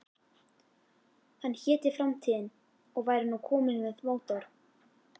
Hann héti Framtíðin og væri nú kominn með mótor.